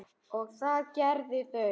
og það gerðu þau.